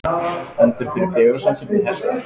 Stendur fyrir fegurðarsamkeppni hesta